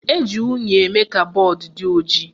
Eji unyi eme ka mgbọodee dị ojii